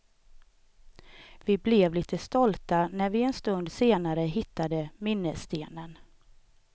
Vi blev lite stolta när vi en stund senare hittade minnesstenen.